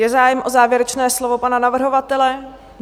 Je zájem o závěrečné slovo pana navrhovatele?